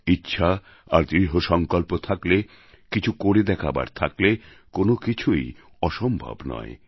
ইচ্ছা আর দৃঢ় সংকল্প থাকলে কিছু করে দেখাবার থাকলে কোনও কিছুই অসম্ভব নয়